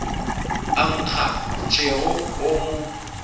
a nkga tšhego o mo